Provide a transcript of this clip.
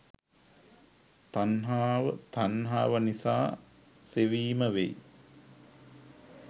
තණ්හාව, තණ්හාව නිසා සෙවීම වෙයි.